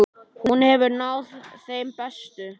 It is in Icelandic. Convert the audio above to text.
Hún hefur náð þeim bestu.